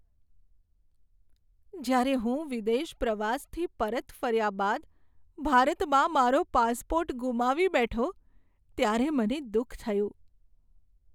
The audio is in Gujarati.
જ્યારે હું વિદેશ પ્રવાસથી પરત ફર્યા બાદ ભારતમાં મારો પાસપોર્ટ ગુમાવી બેઠો ત્યારે મને દુઃખ થયું.